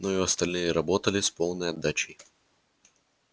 но и остальные работали с полной отдачей